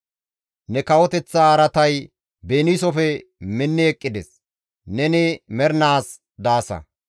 Ne kawoteththa araatay beniisofe minni eqqides; neni mernaas daasa.